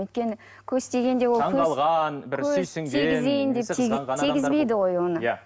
өйткені көз тигенде ол таңғалған тигізбейді ғой оны иә